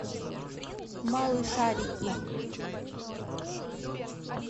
малышарики